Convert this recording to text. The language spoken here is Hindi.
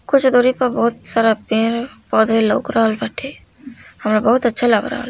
कुछ गरीब बहुत शराब पिये हे और लग रहल बाटे हाँ बहुत अच्छा लग रहल बा।